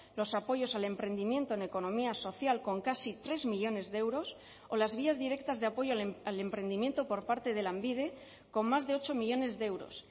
los apoyos al emprendimiento en economía social con casi tres millónes de euros o las vías directas de apoyo al emprendimiento por parte de lanbide con más de ocho millónes de euros